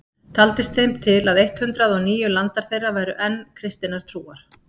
Þá taldist þeim til að eitt hundrað og níu landar þeirra væru enn kristinnar trúar.